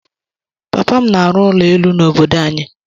Papa m na-arụ ụlọ elu n’obodo anyị.